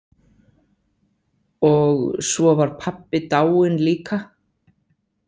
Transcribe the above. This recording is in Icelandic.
Og svo var pabbi dáinn líka.